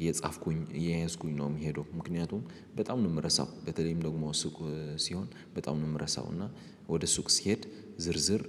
እየጻፍኩኝ እየያዝኩኝ ነው የሚሄደው። ምክንያቱም በጣም ነው የምረሳው በተለይም ደግሞ ሱቅ ሲሆን በጣም ነው የምረሳው። እና ወደ ሱቅ ስሄድ ዝርዝር